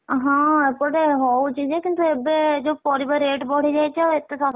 ହଁ ଏପଟେ ହଉଚି ଯେ କିନ୍ତୁ ଏବେ ଯୋଉ ପରିବା rate ବଢିଯାଇଛି ଆଉ ଏତେ ~ଶ,